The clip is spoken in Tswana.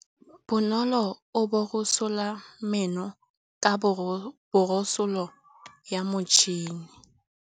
Bonolô o borosola meno ka borosolo ya motšhine.